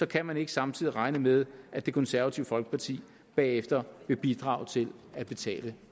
kan man ikke samtidig regne med at det konservative folkeparti bagefter vil bidrage til at betale